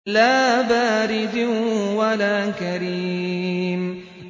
لَّا بَارِدٍ وَلَا كَرِيمٍ